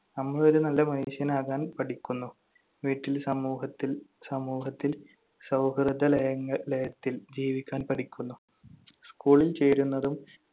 നമ്മൾ ഒരു നല്ല മനുഷ്യനാകാൻ പഠിക്കുന്നു, വീട്ടിൽ, സമൂഹത്തിൽ~ സമൂഹത്തിൽ സൗഹൃദലയങ്ങ~ ലയത്തിൽ ജീവിക്കാൻ പഠിക്കുന്നു. school ൽ ചേരുന്നതും